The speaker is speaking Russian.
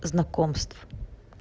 знакомств